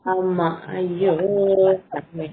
ஆமா அயோ சாமி